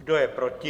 Kdo je proti?